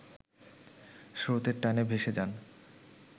স্রোতের টানে ভেসে যান